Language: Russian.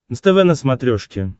нств на смотрешке